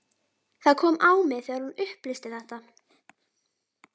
Það kom á mig þegar hún upplýsti þetta.